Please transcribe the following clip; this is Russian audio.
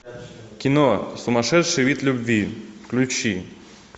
кино сумасшедший вид любви включи